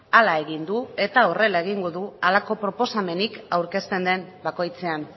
hala egin du eta horrela egingo du halako proposamenik aurkezten den bakoitzean